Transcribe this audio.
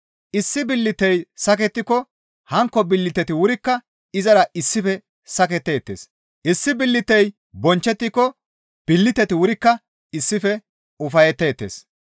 Issi billitey sakettiko hankko billiteti wurikka izara issife saketteettes; issi billitey bonchchettiko billiteti wurikka issife ufayetteettes.